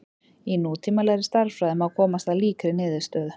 Í nútímalegri stærðfræði má komast að líkri niðurstöðu.